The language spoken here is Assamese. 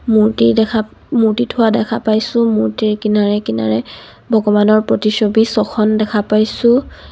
মূৰ্ত্তি দেখা মূৰ্ত্তি থোৱা দেখা পাইছোঁ মূৰ্ত্তিৰ কিনাৰে কিনৰে ভগবানৰ প্ৰতিছবি ছখন দেখা পাইছোঁ.